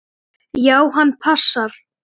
Já, hann passar.